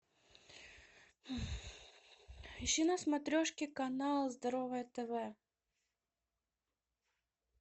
ищи на смотрешке канал здоровое тв